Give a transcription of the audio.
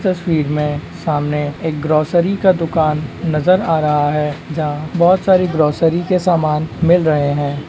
तस्वीर में सामने एक ग्रोसरी -का दुकान नजर आ रहा है जहां बहुत सारी ग्रोसरी के सामान मिल रहे हैं।